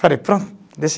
Falei, deixa.